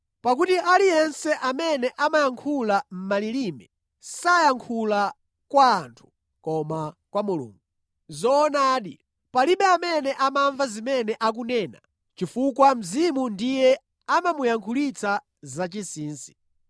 Pakuti aliyense amene amayankhula malilime sayankhula kwa anthu, koma kwa Mulungu. Zoonadi, palibe amene amamva zimene akunena chifukwa Mzimu ndiye amamuyankhulitsa zachinsinsi.